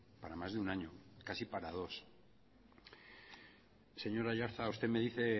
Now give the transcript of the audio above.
para más de un año casi para dos señor aiartza usted me dice